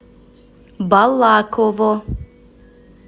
балаково